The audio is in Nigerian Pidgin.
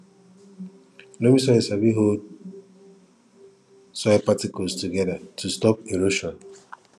loamy soil sabi hold soil particles together to stop erosion